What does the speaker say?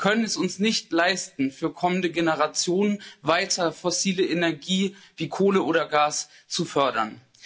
Wir können es uns nicht leisten, für kommende Generationen weiter fossile Energie wie Kohle oder Gas zu fördern.